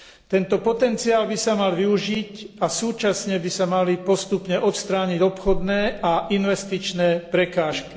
Tento potenciál by sa mal využiť a súčasne by sa mali postupne odstrániť obchodné a investičné prekážky.